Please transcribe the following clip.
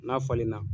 N'a falenna